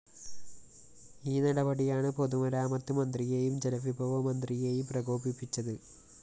ഈ നടപടിയാണ് പൊതുമരാമത്ത് മന്ത്രിയെയും ജലവിഭവ മന്ത്രിയെയും പ്രകോപിപ്പിച്ചത്